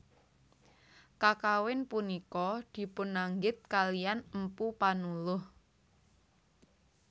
Kakawin punika dipunanggit kaliyan Mpu Panuluh